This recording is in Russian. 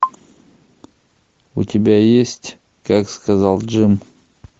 у тебя есть как сказал джим